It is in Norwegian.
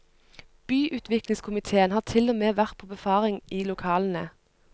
Byutviklingskomitéen har til og med vært på befaring i lokalene.